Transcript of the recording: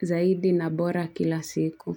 zaidi na bora kila siku.